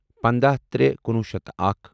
پنٛداہ ترے کنُوُہ شیتھ اکھَ